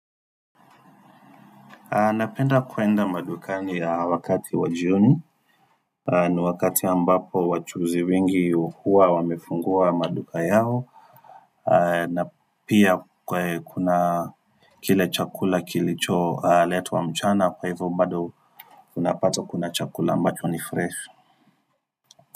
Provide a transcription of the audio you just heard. Napenda kwenda madukani wakati wa jioni ni wakati ambapo wachuuzi wengi huwa wamefungua maduka yao na pia kuna kile chakula kilicholetwa mchana, kwa hivyo bado unapata kuna chakula ambacho ni fresh.